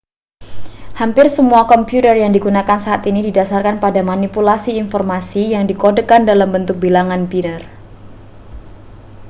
hampir semua komputer yang digunakan saat ini didasarkan pada manipulasi informasi yang dikodekan dalam bentuk bilangan biner